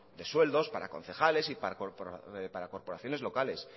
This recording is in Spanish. de sueldos para concejales y para corporaciones locales